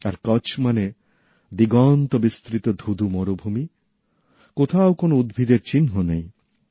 আর কচ্ছ মানে দিগন্তবিস্তৃত ধুধু মরুভূমি কোথাও কোন উদ্ভিদের চিহ্ন নেই